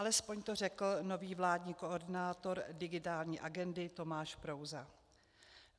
Alespoň to řekl nový vládní koordinátor digitální agendy Tomáš Prouza.